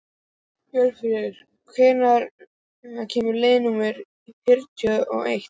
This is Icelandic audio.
Hjörfríður, hvenær kemur leið númer fjörutíu og eitt?